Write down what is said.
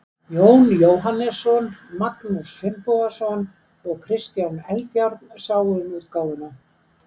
Jón Jóhannesson, Magnús Finnbogason og Kristján Eldjárn sáu um útgáfuna.